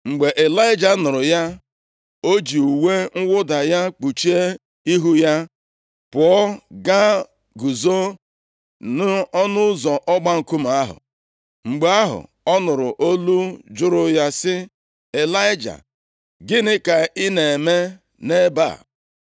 Mgbe Ịlaịja nụrụ ya, o ji uwe mwụda ya kpuchie ihu + 19:13 Ịlaịja kpuchiri ihu ya, nʼihi na o nweghị onye ọbụla ga-adị ndụ, ma ọ hụ ihu Chineke. \+xt Ọpụ 3:6; Aịz 6:2\+xt* ya, pụọ gaa guzo nʼọnụ ụzọ ọgba nkume ahụ. Mgbe ahụ, ọ nụrụ olu jụrụ ya sị, “Ịlaịja, gịnị ka ị na-eme nʼebe a?”